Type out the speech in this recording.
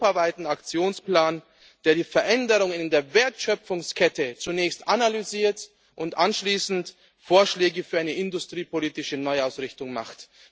Einen Aktionsplan, der die Veränderungen in der Wertschöpfungskette zunächst analysiert und anschließend Vorschläge für eine industriepolitische Neuausrichtung macht.